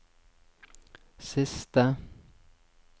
siste